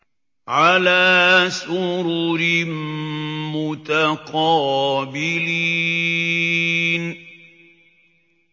عَلَىٰ سُرُرٍ مُّتَقَابِلِينَ